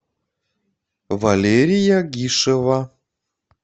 валерия гишева